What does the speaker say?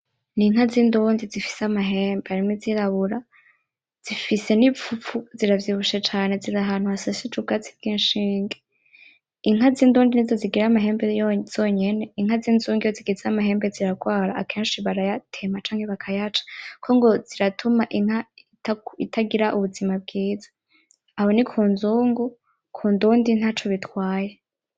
ninka zindundi zifise amahembe harimwo izirabura zifise ni ipfupfu ziravyibushe cane zirahantu hashashije ubwatsi bw ishinge inka z indundi nizo zigira amahembe zonyene inka zinzugnu iyo zigize amahembe ziragwara akeshi barayatema canke bakayaca kuko ngo ziratuma inka itagira ubuzima bwiza aho nikunzungu kundundi ntaco bitwaye